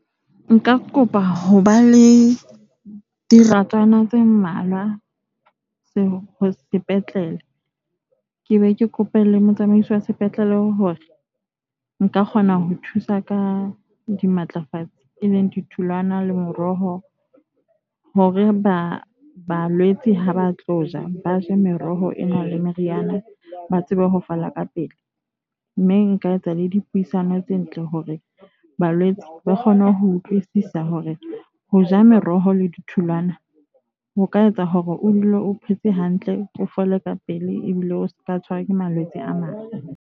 Nka kopa ho ba le diratswana tse mmalwa ho sepetlele. Ke be ke kope le motsamaisi wa sepetlele hore nka kgona ho thusa ka dimatlafatse. E leng ditholwana le meroho, hore ba balwetse ha ba tlo ja ba je meroho e nang le meriana, ba tsebe ho fola ka pele. Mme nka etsa le dipuisano tse ntle hore ba malwetse ba kgone ho utlwisisa hore ho ja meroho le ditholwana ho ka etsa hore o dule o phetse hantle, o fole ka pele ebile o seka tshwarwa ke malwetse a mang.